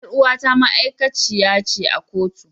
Yar uwata ma'aikaci ce a kotu.